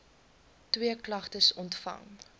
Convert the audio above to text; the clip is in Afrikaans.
twee klagtes ontvang